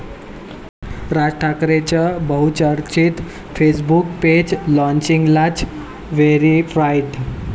राज ठाकरेंचं बहुचर्चित Facebook page लॉन्चिंगलाच 'व्हेरिफाईड'!